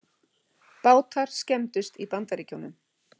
Bátar skemmdust í Bandaríkjunum